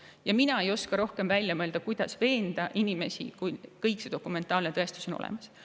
Ja mina ei oska midagi rohkemat välja mõelda, kuidas inimesi veenda, kui kõik see dokumentaalne tõestus on olemas.